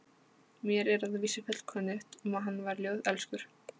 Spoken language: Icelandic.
Mér er að vísu fullkunnugt um að hann var ljóðelskur.